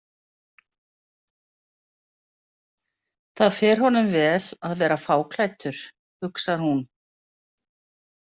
Það fer honum vel að vera fáklæddur, hugsar hún.